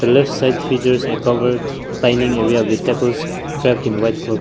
left side features a covered dining area with tables draped in white cloth.